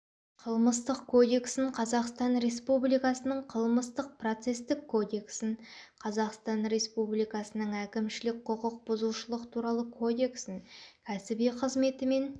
қылмыстық кодексін қазақстан республикасының қылмыстық-процестік кодексін қазақстан республикасының әкімшілік құқық бұзушылық туралы кодексін кәсіби қызметімен